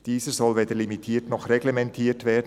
Dieser soll weder limitiert noch reglementiert werden.